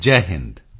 Jai Hind